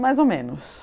Mais ou menos.